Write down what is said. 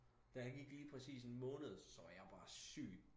Der gik lige præcis en måned så var jeg bare syg